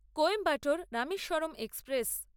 Coimbatore Rameswaram express